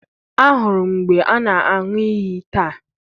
ahụrụ m mgbe ana anwu iyi taa